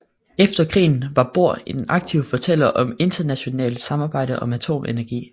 Efter krigen var Bohr en aktiv fortaler for internationalt samarbejde om atomenergi